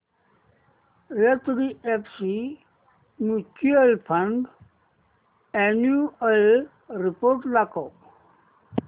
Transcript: HDFC mutual fund annual report दाखव